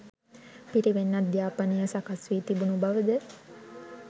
පිරිවෙන් අධ්‍යාපනය සකස්වී තිබුණු බවද